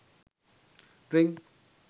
drink